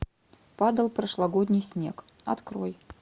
падал прошлогодний снег открой